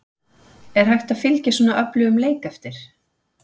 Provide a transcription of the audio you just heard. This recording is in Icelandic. Er hægt að fylgja svona öflugum leik eftir?